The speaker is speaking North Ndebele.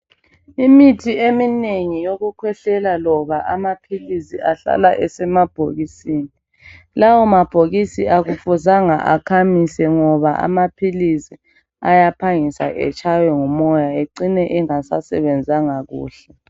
Imithi eminengi yokukhwehlela loba amaphilisi ahlala esemabhokisini. Lawo mabhokisi akufuzanga akhamise ngoba amaphilisi ayaphangisa etshaywe ngumoya ecine engasasebenzanga kuhle.